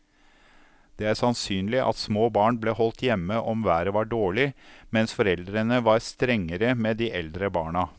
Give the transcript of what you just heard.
Det er sannsynlig at små barn ble holdt hjemme om været var dårlig, mens foreldrene var strengere med de eldre barna.